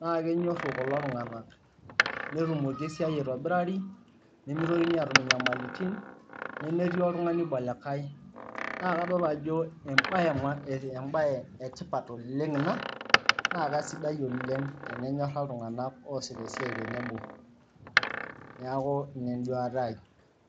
na kenyoru kulo tunganak ,netumoki esiai aitobirari nemeitokini atum inyamalitin nemetii oltungani oiba olikae na kadolita ajo embae eb maa embae etipat oleng ina na kesidai oleng tenenyora ltunganak oasita esiai ,neaku ina enduata aai.